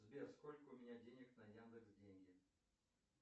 сбер сколько у меня денег на яндекс деньги